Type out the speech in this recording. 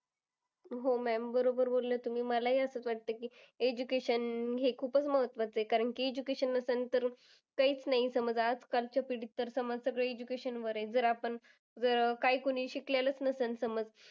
हो ma'am बरोबर बोललात तुम्ही. मला ही असंच वाटतं की, education हे खूपच महत्वाचं आहे. कारण की education नसेल तर काहीच नाही समज. आज कालची पिढी तर, education वर आहे. जर आपण काय कोणी शिकलेलंच नसेल समज